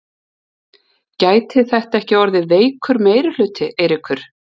Gæti þetta ekki orðið veikur meirihluti, Eiríkur?